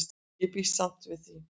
Ég býst samt við því.